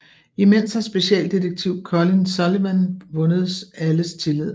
Imens har specialdetektiv Colin Sullivan vundet alles tillid